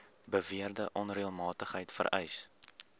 beweerde onreëlmatigheid vereis